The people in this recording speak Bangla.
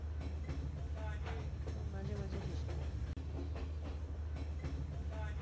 হম তো মাঝে মাঝে বৃষ্টি হয় হম